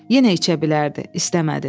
Yenə içə bilərdi, istəmədi.